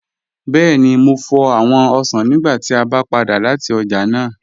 Bẹẹ̀ni, mò fọ́ awọn osàn nígbà tí a bá padà lati ọ̀já náà